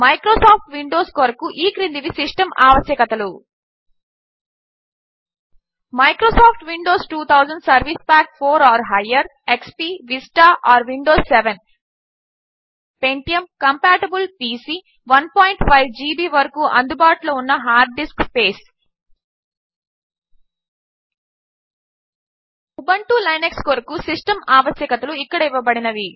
Microsoft Windows కొరకు ఈ క్రిందివి సిస్టమ్ ఆవశ్యకతలు Microsoft Windows 2000 XP Vista or Windows 7 pentium compatible PC 15 GB వరకు అందుబాటులో ఉన్న hard disk space Ubuntu Linux కొరకు సిస్టమ్ ఆవశ్యకతలు ఇక్కడ ఇవ్వబడినవి